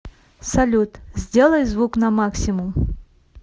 салют сделай звук на максимум